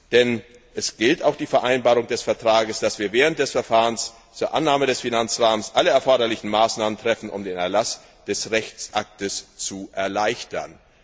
Denn es gilt auch die Vereinbarung des Vertrages, dass wir während des Verfahrens zur Annahme des Finanzrahmens alle erforderlichen Maßnahmen treffen, um den Erlass des Rechtsaktes zu erleichtern.